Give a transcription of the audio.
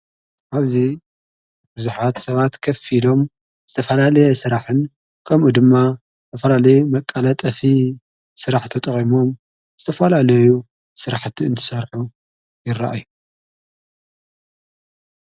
ኣብዙ ብርዙኃት ሰባት ከፊሎም ዝተፈላልየ ሥራሕን ከምኡ ድማ ኣፈላለዩ መቃለ ጠፊ ሥራሕ ተ ጠቐሞም ዝተፈልኣለዩ ሥራሕእቲ እንትሠርሑ ይረአእዩ።